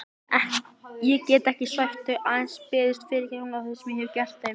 Ekki get ég svæft þau, aðeins beðist fyrirgefningar á því sem ég hef gert þeim.